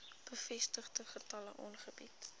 bevestigde gevalle aangebied